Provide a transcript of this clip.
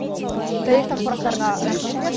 дәйекті ақпараттарыңа рахмет риат